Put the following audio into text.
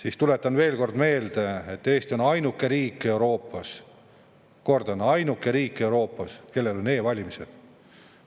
Aga tuletan veel kord meelde, et Eesti on ainuke riik Euroopas – kordan: ainuke riik Euroopas –, kellel on e-valimised.